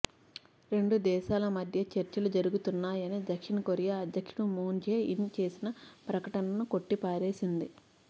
రెండు దేశాల మధ్య చర్చలు జరుగుతున్నాయని దక్షిణకొరియా అధ్యక్షుడు మూన్ జే ఇన్ చేసిన ప్రకటననూ కొట్టిపారేసింది